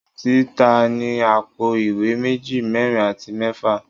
Indomie ti ta ni apo iwe meji, merin ati mefa